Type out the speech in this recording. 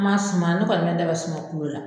Ma sumaya ko patɔrɔn ta bɛ sunɔgɔ kungo la.